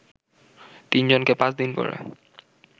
তিনজনকে পাঁচ দিন করে